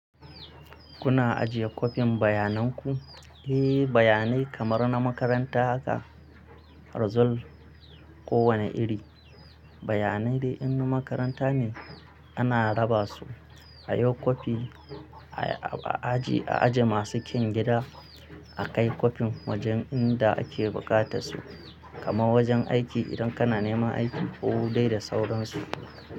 Kuna ajiye kwafin bayanan ku? Eh, bayanai kamar na makaranta haka result ko wane iri, bayanai dai in na makaranta ne ana raba su a yi kwafi a ajiye masu kyan gida, a kai kwafin wajen inda ake bukata su kamar wajen aiki idan kana neman aiki ko dai da sauransu.